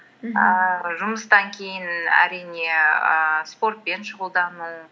жұмыстан кейін әрине ііі спортпен шұғылдану